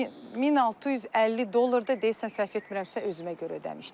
1650 dollar da deyəsən səhv etmirəmsə özümə görə ödəmişdim.